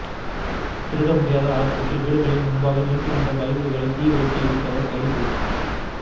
திருட முடியாத ஆத்திரத்தில் வீடுகளின் முன்பாக நிறுத்தியிருந்த பைக்குகடிள தீ வைத்து எரித்தவர் கைது